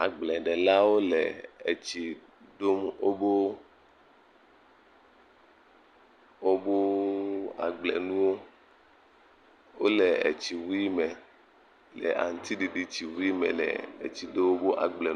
agbledelawo le etsi Do woƒeeeeeɛɛ agblenuwo. Wole edzi wuie me le aŋutiɖiɖi dziwuie me. Wole tsi do woƒe agble......